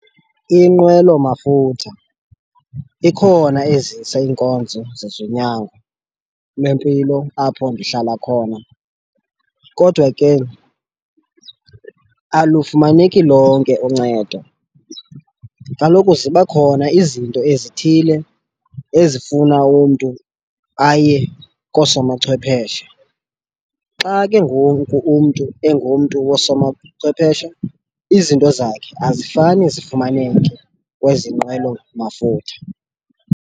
Inqwelomafutha ikhona ezisa iinkonzo zezonyango lwempilo apho ndihlala khona kodwa ke alufumaneki lonke uncedo. Kaloku ziba khona izinto ezithile ezifuna umntu aye kosomachwepheshe xa ke ngoku umntu engumntu wosomachwepheshe izinto zakhe azifani zifumaneke kwezi nqwelo mafutha.